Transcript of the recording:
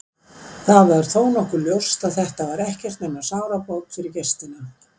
Það var þó nokkuð ljóst að þetta var ekkert nema sárabót fyrir gestina.